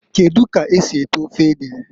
Kedu ka esi eto ofe ede?